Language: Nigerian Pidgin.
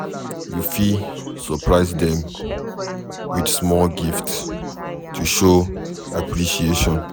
You fit surprise them with small gift to show appreciation